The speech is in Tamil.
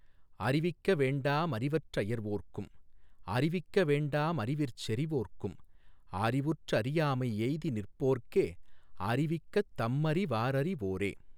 அறிவிக்க வேண்டா மறிவற் றயர்வோர்க்கும் அறிவிக்க வேண்டா மறிவிற் செறிவோர்க்கும் அறிவுற் றறியாமை யெய்திநிற் போர்க்கே அறிவிக்கத் தம்மறி வாரறி வோரே.